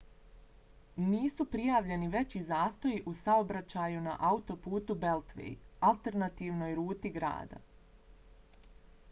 nisu prijavljeni veći zastoji u saobraćaju na autoputu beltway alternativnoj ruti grada